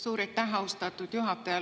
Suur aitäh, austatud juhataja!